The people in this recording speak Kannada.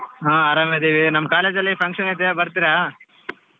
ಹಾ ಆರಾಮಿದ್ದೀವಿ ನಮ್ಮ್ college ಅಲ್ಲಿ function ಐತೆ ಬರ್ತೀರಾ?